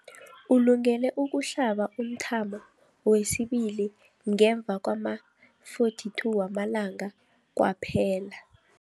Ulungele ukuhlaba umthamo wesibili ngemva kwama-42 wamalanga kwaphela.